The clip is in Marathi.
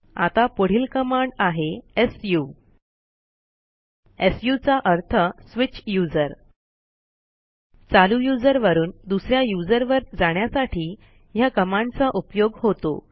आता पुढील कमाड आहे सु सु चा अर्थswitch यूझर चालू यूझर वरून दुस या यूझर वर जाण्यासाठी ह्या कमांडचा उपयोग होतो